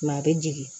a bɛ jigin